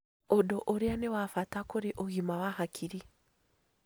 Ũndũ ũrĩa nĩ wa bata kũrĩ ũgima wa hakiri